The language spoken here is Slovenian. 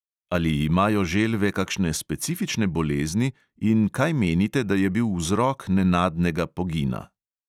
Ali imajo želve kakšne specifične bolezni in kaj menite, da je bil vzrok nenadnega pogina?